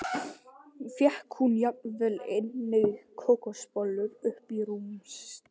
Fékk hún jafnvel einnig kókosbollur upp í rúm til sín.